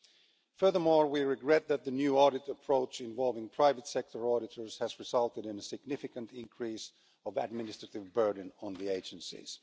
Six, furthermore, we regret that the new audit approach involving private sector auditors has resulted in a significant increase in the administrative burden on the agencies.